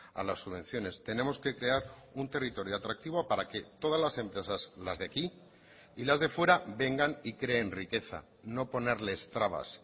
a las subvenciones tenemos que crear un territorio atractivo para que todas las empresas las de aquí y las de fuera vengan y creen riqueza no ponerles trabas